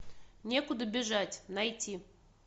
некуда бежать найти